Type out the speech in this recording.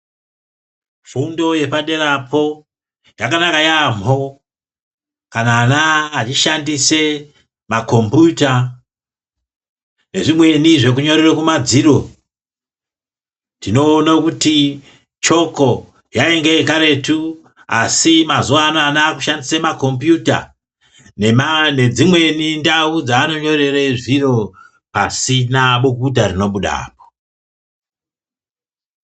Fundo yepaderapo, yakanaka yaemho, kana ana echishandise makombiyuta, nezvimweni zvekunyorera kumadziro. Tinoona kuti choko yainge yekaretu asi mazuwa anaya ana aakushandisa makombiyuta nema nedzimweni ndau dzavanonyorera zviro pasina bukuta rinobudapo.